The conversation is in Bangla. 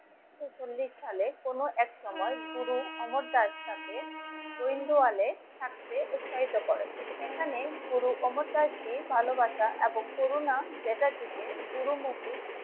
ঊনসল্লিশ সালে কোন এক সময় গুরু অমর দাস থাকে গোইন্দুয়ালে থাকছে উৎসাহিত করে. এখানে গুরু অমর দাস জি ভালোবাসা এবং করুনা চ্যাটার্জিকে পুরো মসজিদ